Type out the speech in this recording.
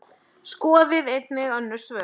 Skoðið einnig önnur svör